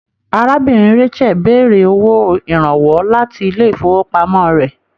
Arábìnrin Rachael béèrè owó ìrànwọ́ láti ilé ifowopamọ rẹ.